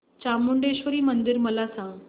चामुंडेश्वरी मंदिर मला सांग